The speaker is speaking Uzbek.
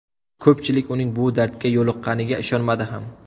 Ko‘pchilik, uning bu dardga yo‘liqqqaniga ishonmadi ham.